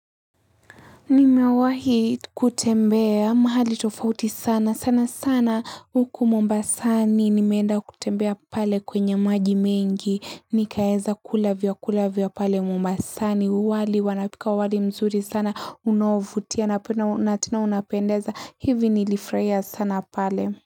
Nimewahi kutembea mahali tofauti sana sana sana huku mombasani nimeenda kutembea pale kwenye maji mengi nikaeza kula vyakula vya pale mombasani wali wanapika wali mzuri sana unaovutia napena natena unapendeza hivi nilifurahi sana pale.